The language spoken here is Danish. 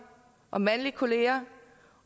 og mandlige kolleger